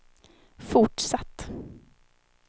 fortsatt